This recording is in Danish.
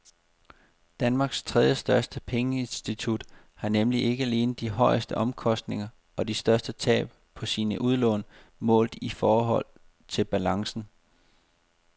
Danmarks tredjestørste pengeinstitut har nemlig ikke alene de højeste omkostninger og de største tab på sine udlån målt i forhold til balancen.